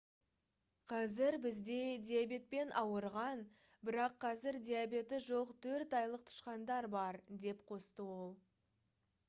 «қазір бізде диабетпен ауырған бірақ қазір диабеті жоқ 4 айлық тышқандар бар» - деп қосты ол